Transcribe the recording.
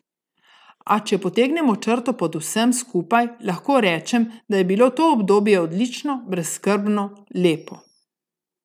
A če potegnem črto pod vsem skupaj, lahko rečem, da je bilo to obdobje odlično, brezskrbno, lepo.